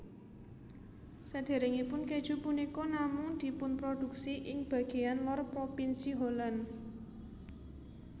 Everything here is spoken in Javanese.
Saderengipun keju punika namung dipunproduksi ing bageyan lor propinsi Holland